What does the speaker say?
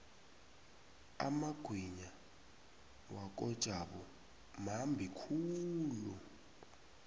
amagwinya wakojabu mambi khulu